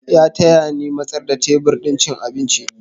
Ya taya ni matsar da teburin cin abinci.